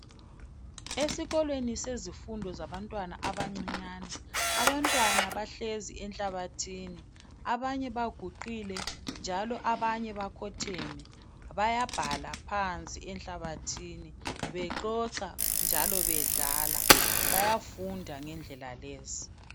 Esikolweni sezifundo zabantwana abancinyane. Abantwana bahlezi enhlabathini abanye baguqile njalo abanye bakhotheme. Bayabhala phansi enhlabathini bexoxa njalo bedlala. Bayafunda ngendlela lezi.